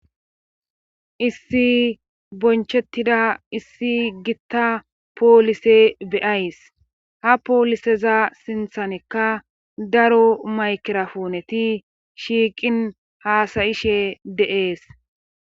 issi bonchettida issi gitta poolise beyays ha pooliseza sinthanekka daro maykirapuuneti shiiqin haasayishe deees